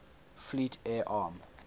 fleet air arm